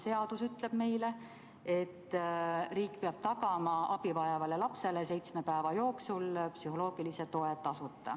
Seadus ütleb meile, et riik peab tagama abi vajavale lapsele seitsme päeva jooksul tasuta psühholoogilise toe.